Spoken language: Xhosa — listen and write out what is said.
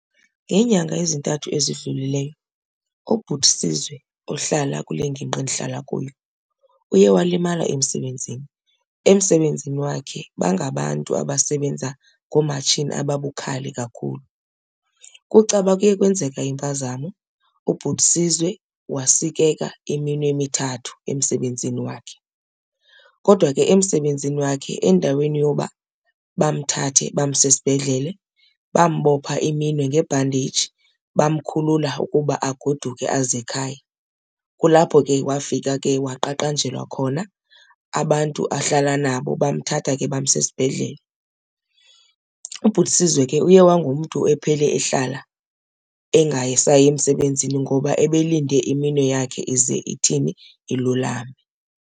Ngeenyanga ezintathu ezidlulileyo ubhuti Sizwe ohlala kule ngingqi endihlala kuyo uye walimala emsebenzini. Emsebenzini wakhe bangabantu abasebenza ngoomatshini ababukhali kakhulu. Kucaba kuye kwenzeka impazamo ubhuti Sizwe wasikeka iminwe emithathu emsebenzini wakhe. Kodwa ke emsebenzini wakhe endaweni yoba bamthathe bamse esibhedlele bambopha iminwe ngebhandeji bamkhulula ukuba agoduke aze ekhaya. Kulapho ke wafika ke waqaqanjelwa khona abantu ahlala nabo bamthatha ke bamsa esibhedlele. Ubhuti Sizwe ke uye wangumntu ephele ehlala engasayi emsebenzini ngoba ebelindele iminwe yakhe ize ithini, ilulame.